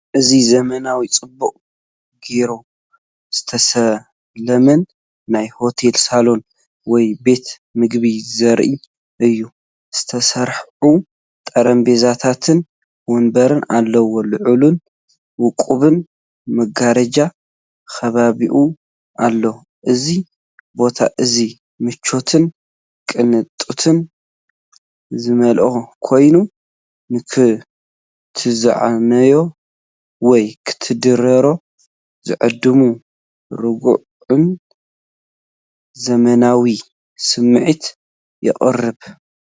እዚ ዘመናውን ጽቡቕ ጌሩ ዝተሰለመን ናይ ሆቴል ሳሎን ወይ ቤት መግቢ ዘርኢ እዩ። ዝተሰርዑ ጠረጴዛታትን መንበርን ኣለዉዎ፤ ልዑልን ውቁብን መጋረጃ ከቢብዎ ኣሎ። እዚ ቦታ እዚ ምቾትን ቅንጦትን ዝመልኦ ኮይኑ፡ንኽትዛነዩ ወይ ክትድረሩ ዝዕድም ርጉእን ዘመናውን ስምዒት የቕርብ።